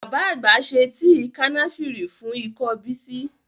Bàbá àgbà ṣe tíì Kànáfìrì fún ikọ́ Bísí